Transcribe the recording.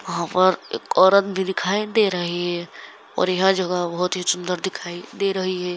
वहां पर एक औरत भी दिखाई दे रही है और यह जगह बहुत ही सुन्दर दिखाई दे रही है।